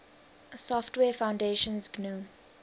software foundation's gnu